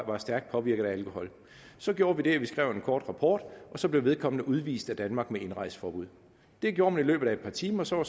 var stærkt påvirket af alkohol så gjorde vi det at vi skrev en kort rapport og så blev vedkommende udvist af danmark med indrejseforbud det gjorde man i løbet af et par timer og så